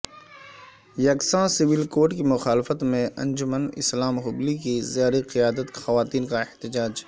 یکساں civil code کی مخالفت میں انجمن اسلام ہبلی کی زیر قیادت خواتین کا احتجاج